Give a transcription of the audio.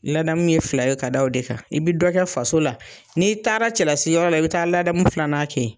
Ladamu ye fila ye ka da o de kan , i bɛ dɔ kɛ faso la, n'i taara cɛlasiyɔrɔ la, i bɛ taa ladamu filanan kɛ.